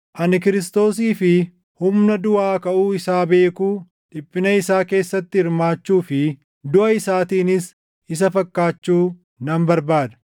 Ani Kiristoosii fi humna duʼaa kaʼuu isaa beekuu, dhiphina isaa keessatti hirmaachuu fi duʼa isaatiinis isa fakkaachuu nan barbaada;